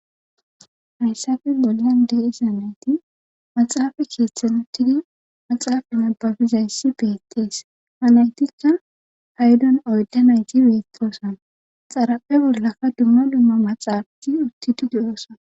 hayssafin bolan dee isanayti maxaafa keeththen uttidi maxaafa mabbabizayssi beettees halaytikka haydon oyda nayti beettoosan xaraphe bollakka dumma dumma maxaafai utti di diyoosa